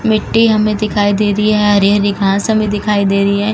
मिट्टी हमें दिखाई दे रही है। हरी-हरी घांस हमें दिखाई दे रही है।